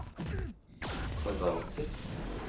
forvalter